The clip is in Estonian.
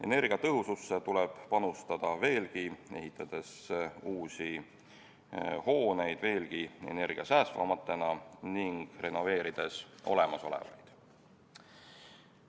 Energiatõhususse tuleb edaspidigi panustada, ehitades uusi veelgi energiasäästvamaid hooneid ning renoveerides olemasolevaid.